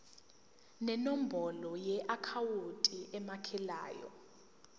nenombolo yeakhawunti emukelayo